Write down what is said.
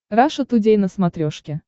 раша тудей на смотрешке